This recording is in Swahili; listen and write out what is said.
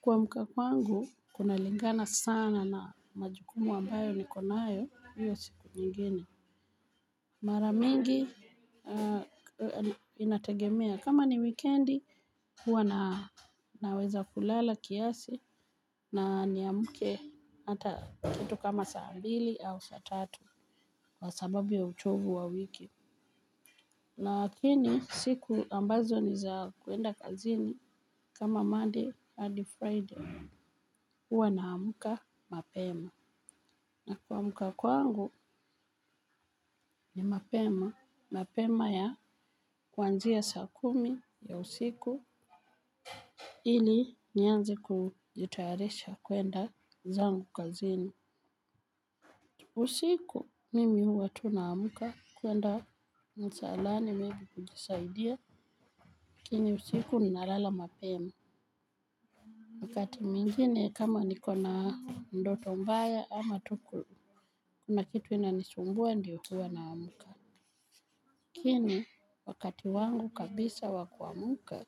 Kuamka kwangu kunalingana sana na majukumu ambayo niko nayo hiyo siku nyingine mara mingi inategemea kama ni wikendi huwa na naweza kulala kiasi na niamke hata kitu kama saa mbili au saa tatu kwa sababu ya uchovu wa wiki. Lakini siku ambazo ni za kuenda kazini kama Monday hadi Friday huwa naamka mapema. Na kuamka kwangu ni mapema. Mapema ya kuanzia saa kumi ya usiku. Ili nianze kujitayarisha kuenda zangu kazini. Usiku mimi huwa tu naamka kuenda msalani maybe kujisaidia. Lakini usiku ninalala mapema. Wakati mwingine kama niko na ndoto mbaya ama tu kuna kitu inanisumbua ndio huwa naamka. Lakini wakati wangu kabisa wa kuamka